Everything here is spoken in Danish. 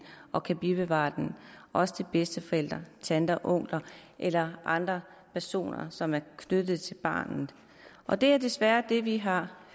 og kan bevare den også til bedsteforældre tanter onkler eller andre personer som er knyttet til barnet og det er desværre det vi har